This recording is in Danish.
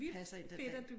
Passer ind den dag